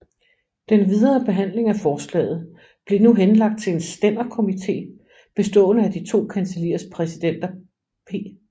Den videre behandling af forslaget blev nu henlagt til en stænderkomité bestående af de to kancelliers præsidenter P